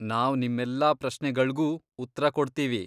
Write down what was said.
ನಾವ್ ನಿಮ್ಮೆಲ್ಲಾ ಪ್ರಶ್ನೆಗಳ್ಗೂ ಉತ್ರ ಕೊಡ್ತೀವಿ.